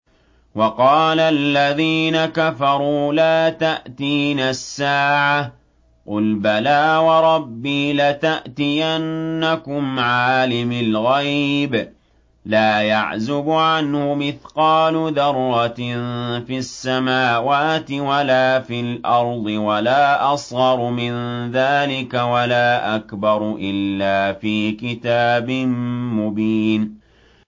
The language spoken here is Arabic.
وَقَالَ الَّذِينَ كَفَرُوا لَا تَأْتِينَا السَّاعَةُ ۖ قُلْ بَلَىٰ وَرَبِّي لَتَأْتِيَنَّكُمْ عَالِمِ الْغَيْبِ ۖ لَا يَعْزُبُ عَنْهُ مِثْقَالُ ذَرَّةٍ فِي السَّمَاوَاتِ وَلَا فِي الْأَرْضِ وَلَا أَصْغَرُ مِن ذَٰلِكَ وَلَا أَكْبَرُ إِلَّا فِي كِتَابٍ مُّبِينٍ